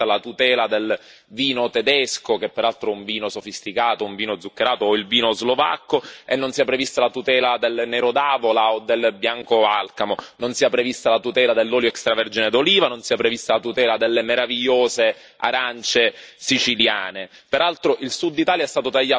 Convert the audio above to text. Mi sembra molto curioso che possa essere prevista la tutela del vino tedesco, che peraltro è un vino sofisticato, un vino zuccherato, o del vino slovacco, e non sia prevista la tutela del Nero d'Avola o del Bianco Alcamo, non sia prevista la tutela dell'olio extravergine d'oliva, non sia prevista la tutela delle meravigliose arance siciliane.